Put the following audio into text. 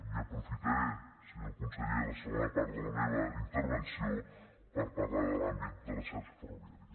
i aprofitaré senyor conseller la segona part de la meva intervenció per parlar de l’àmbit de la xarxa ferroviària